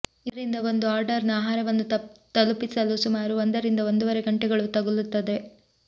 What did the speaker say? ಇದರಿಂದ ಒಂದು ಆರ್ಡರ್ನ ಆಹಾರವನ್ನು ತಲುಪಿಸಲು ಸುಮಾರು ಒಂದರಿಂದ ಒಂದುವರೆ ಗಂಟೆಗಳು ತಗುಲುತ್ತದೆ